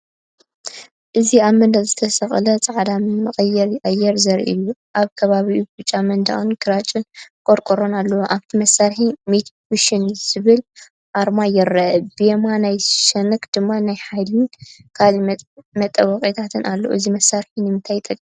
እዚኣብ መንደቕ ዝተሰቕለ ጻዕዳ መቀየሪ ኣየር ዘርኢ እዩ። ኣብ ከባቢኡ ብጫ መንደቕን ግራጭ ቆርቆሮን ኣለዎ። ኣብቲ መሳርሒ "ሚትሱቢሺ" ዝብል ኣርማ ይርአ፡ ብየማናይ ሸነኽ ድማ ናይ ሓይልን ካልእ መጠወቒታትን ኣሎ። እዚ መሳርሒ ንምንታይ ይጠቅም?